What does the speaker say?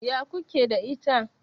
Ya ku ke da ita?